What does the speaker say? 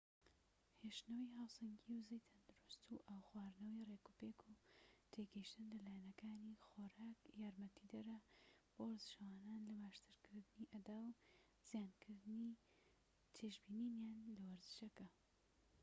هێشتنەوەی هاوسەنگیی وزەی تەندروست و ئاو خواردنەوەی ڕێكوپێك و تێگەشتن لە لایەنەکانی خۆراك یارمەتیدەرە بۆ وەرزشەوانان لە باشترکردنی ئەدا و زیادکردنی چێژبینینیان لە وەرزشەکە